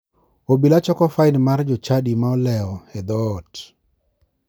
Obila choko fain mar jochadi ma olewo e dhoot.